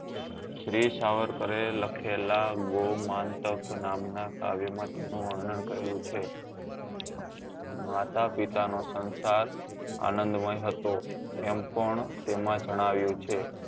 વીર સાવરકરે લખેલા ગૌ માંન્ક્ત નામ નાં કાવ્ય માં ગણું વર્ણન કરેલું છે માતા પિતા નો સંસાર આનંદમય હતો એમ પણ તેમાં જણાવ્યું છે